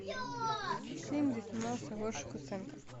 фильм где снимался гоша куценко